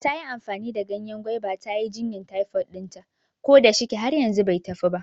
Tayi amfani da ganyen gwaiba ta yi jinyan taifod ɗinta, ko da shike har yanzu bai tafi ba